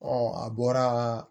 a bɔra